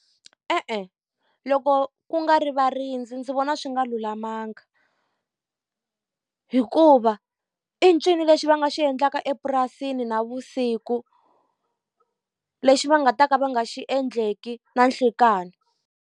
E-e, loko ku nga ri varindzi ndzi vona swi nga lulamanga. Hikuva i ncini lexi va nga xi endlaka epurasini navusiku, lexi va nga ta ka va nga xi endleki na nhlikani.